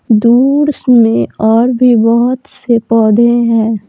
दूस में और भी बहुत से पौधे हैं।